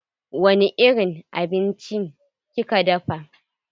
Wani irin abinci kika dafa?